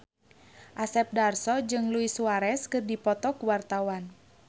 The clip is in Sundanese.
Asep Darso jeung Luis Suarez keur dipoto ku wartawan